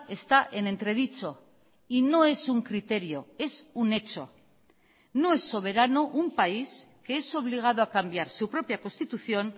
está en entredicho y no es un criterio es un hecho no es soberano un país que es obligado a cambiar su propia constitución